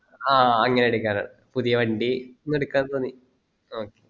ആ അങ്ങനെ എടുക്കാൻ ആണ് പുതിയ വണ്ടി ഒന്ന് എടുക്കാൻ തോന്നി ആ